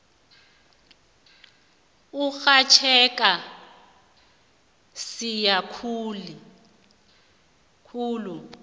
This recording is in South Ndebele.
urhatjheka msinya khulu